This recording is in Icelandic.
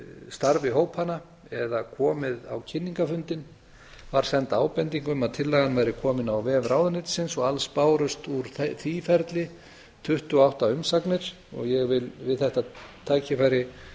starfi hópanna eða komið á kynningarfundinn var send ábending um að tillagan væri kominn á vef ráðuneytisins og alls bárust í því ferli tuttugu og átta umsagnir og ég vil við þetta tækifæri